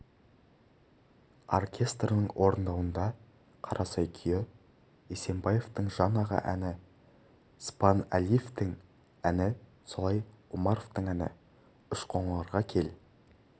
оркестрінің орындауында қарасай күйі есебаевтың жан аға әні спанәлиевтің әні солай омаровтың әні үшқоңырға кел